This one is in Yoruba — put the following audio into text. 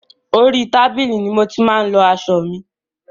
Orí tábìlì ni mo ti máa ń lọ aṣọ mi.